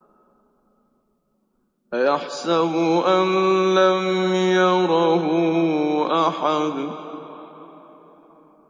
أَيَحْسَبُ أَن لَّمْ يَرَهُ أَحَدٌ